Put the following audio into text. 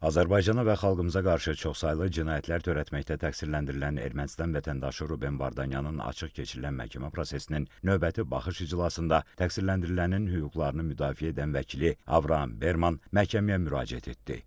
Azərbaycana və xalqımıza qarşı çoxsaylı cinayətlər törətməkdə təqsirləndirilən Ermənistan vətəndaşı Ruben Vardanyanın açıq keçirilən məhkəmə prosesinin növbəti baxış iclasında təqsirləndirilənin hüquqlarını müdafiə edən vəkili Avram Berman məhkəməyə müraciət etdi.